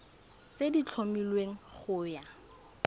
tse di tlhomilweng go ya